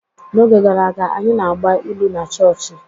N'oge gara aga, anyị na-agba ilu na chọọchị.